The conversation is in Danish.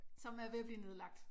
Som er ved at blive nedlagt